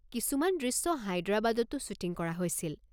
কিছুমান দৃশ্য হায়দৰাবাদতো শ্বুটিং কৰা হৈছিল।